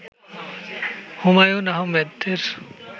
হুমায়ূন আহমেদের